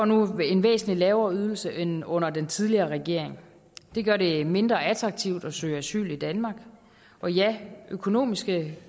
nu en væsentlig lavere ydelse end under den tidligere regering det gør det mindre attraktivt at søge asyl i danmark og ja økonomiske